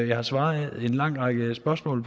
jeg har svaret i en lang række spørgsmål